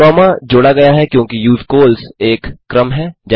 comma जोड़ा गया है क्योंकि यूजकॉल्स एक क्रम है